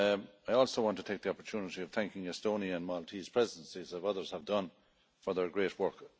I also want to take the opportunity to thank the Estonian and Maltese Presidencies, as others have done, for their great work.